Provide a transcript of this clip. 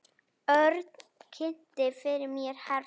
Örn kynnti fyrir mér herra